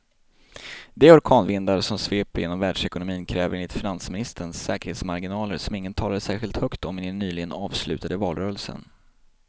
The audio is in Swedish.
De orkanvindar som sveper genom världsekonomin kräver enligt finansministern säkerhetsmarginaler som ingen talade särskilt högt om i den nyligen avslutade valrörelsen.